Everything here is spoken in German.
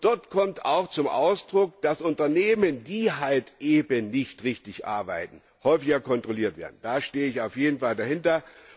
Dort kommt auch zum Ausdruck, dass Unternehmen, die halt eben nicht richtig arbeiten, häufiger kontrolliert werden. Da stehe ich auf jeden Fall dahinter.